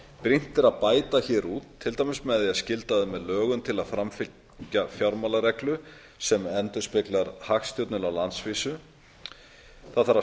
brýnt er að bæta hér úr til dæmis með því að skylda þau með lögum til að fylgja fjármálareglu sem endurspeglar hagstjórnina á landsvísu það þarf að